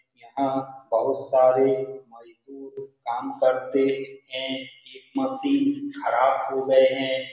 यहाँ बहुत सारे मजदुर काम करते हैं एक मशीन ख़राब हो गए हैं ।